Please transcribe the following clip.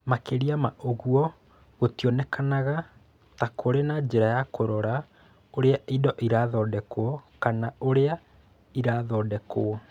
Makĩria ma ũguo, gũtionekaga ta kũrĩ na njĩra ya kũrora ũrĩa indo irathondekwo kana ũrĩa irathondekwo.